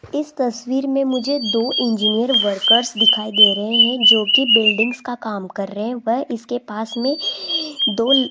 इस तस्वीर में मुझे दो इंजीनियर वर्कर्स दिखाई दे रहे हैं जो की बिल्डिंग्स का काम कर रहे हैं व इसके पास में दो--